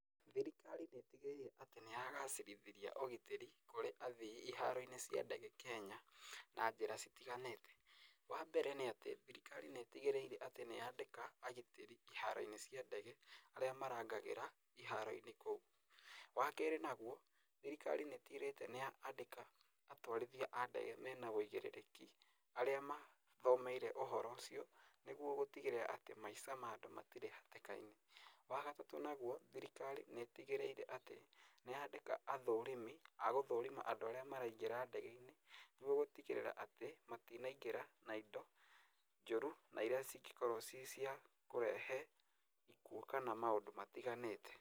Thirikari nĩ ĩtigĩrĩire atĩ nĩyagacĩrithia ũgitĩri kũrĩ athii iharo-inĩ cia ndege Kenya na njĩra citiganĩte. Wa mbere, nĩ atĩ thirikari nĩ ĩtigĩrĩire atĩ nĩyandĩka agitĩri iharo-inĩ cia ndege arĩa marangagĩra iharo-inĩ kũu, wa kerĩ naguo, thirikari nĩ ĩtigĩrĩite atĩ nĩyandĩka atwarithia a ndege mena ũigĩrĩrĩki arĩa mathomeire ũhoro ũcio, nĩguo gũtigĩrĩra atĩ maica ma andũ matirĩ hatĩka-inĩ. Wa gatatũ naguo, thirikari nĩ ĩtigĩrĩire atĩ nĩyandĩka athũrimi a gũthũrima andũ arĩa maraingĩra ndege-inĩ, nĩguo gũtigĩrĩra atĩ matinaingĩra na indo njũru na irĩa cingĩkorwo ci cia kũrehe ikuũ kana maũndũ matiganĩte.